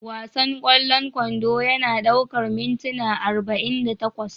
Wasan ƙwallon kwando yana ɗaukar mintuna arba'in da takwas